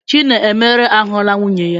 Chinemere ahụla nwunye ya.